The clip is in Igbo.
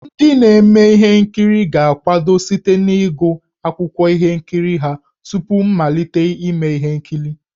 Ndị na-eme ihe nkiri ga-akwado site n'ịgụ akwụkwọ ihe nkiri ha tupu mmalite ime ihe nkiri.